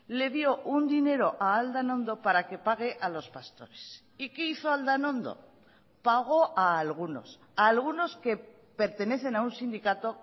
le dio un dinero a aldanondo para que pague a los pastores y qué hizo aldanondo pagó a algunos a algunos que pertenecen a un síndicato